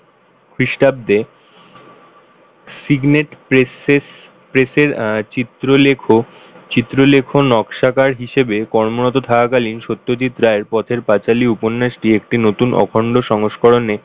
খ্রীষ্টাব্দে Signet Press এর আহ চিত্র লেখক চিত্রলেখন নকশাকার হিসেবে কর্মরত থাকাকালীন সত্যজিৎ রায়ের পথের পাঁচালী উপন্যাস টি একটি নতুন অখন্ড সংস্করণ এর,